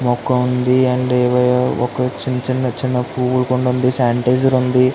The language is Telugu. మొక్క వుంది చిన్న చిన్న పువుల్లు కుంది ఉంది సనీటిజర్ వుంది.